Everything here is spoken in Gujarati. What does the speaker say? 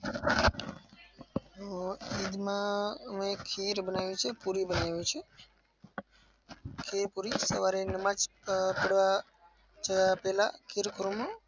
હું ઈદમાં અમે ખીર બનાવીએ છીએ, પૂરી બનાવી એ છીએ. સવારે નમાજ પઢવા જાય પેલા